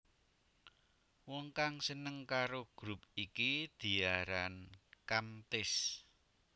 Wong kang seneng karo grup iki diaran Kamtis